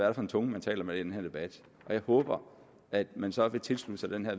er for en tunge man taler med i den her debat og jeg håber at man så vil tilslutte sig det her